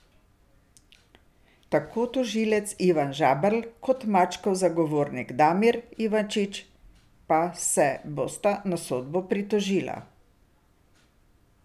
Tako tožilec Ivan Žaberl kot Mačkov zagovornik Damir Ivančič pa se bosta na sodbo pritožila.